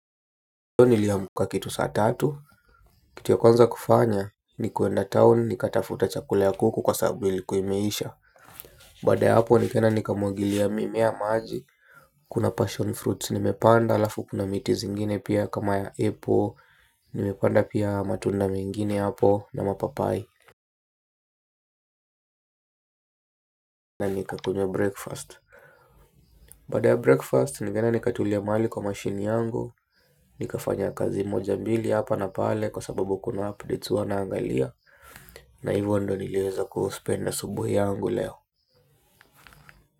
Leo niliamka kitu saa tatu kitu ya kwanza kufanya ni kuenda town nikatafute chakula cha kuku kwa sababu ilikuwa imeisha baada ya hapo nikaenda nikamwagilia mimea maji kuna passion fruits nimepanda alafu kuna miti zingine pia kama ya apple. Nimepanda pia matunda mengine hapo na mapapai na nikakunywa breakfast baada ya breakfast nimeenda nikatulia mahali kwa mashine yangu nikafanya kazi moja mbili hapa na pale kwa sababu kuna updates wanaangalia na hivyo ndio niliweza kutumia asubuhi yangu leo.